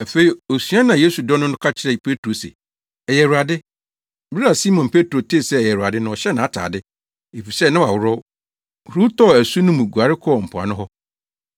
Afei osuani a Yesu dɔ no no ka kyerɛɛ Petro se, “Ɛyɛ Awurade.” Bere a Simon Petro tee sɛ ɛyɛ Awurade no ɔhyɛɛ nʼatade, (efisɛ na waworɔw) huruw tɔɔ asu no mu guare kɔɔ mpoano hɔ.